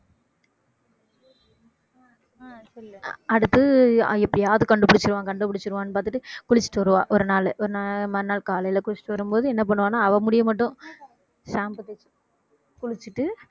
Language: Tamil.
அடுத்து எப்படியாவது கண்டுபிடிச்சிடுவான் கண்டுபிடிச்சிடுவான் பார்த்துட்டு குளிச்சிட்டு வருவா ஒரு நாளு மறுநாள் காலையில குளிச்சிட்டு வரும்போது என்ன பண்ணுவான்னா அவள் முடிய மட்டும் shampoo போட்~ குளிச்சிட்டு